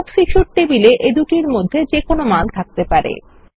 books issued টেবিলে এদুটির মধ্যে যেকোনো মান থাকতে পারে